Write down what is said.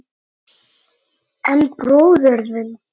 En bróðir þinn.